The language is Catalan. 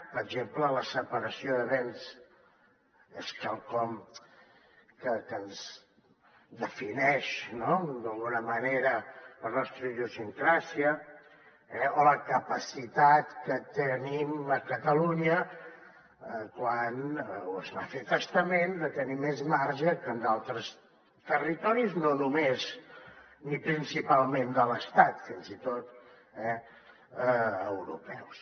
per exemple la separació de béns és quelcom que defineix no d’alguna manera la nostra idiosincràsia o la capacitat que tenim a catalunya quan es va a fer testament de tenir més marge que en altres territoris no només ni principalment de l’estat fins i tot europeus